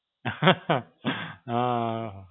હાં.